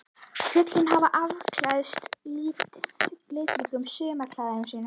Fjöllin hafa afklæðst litríkum sumarklæðum sínum.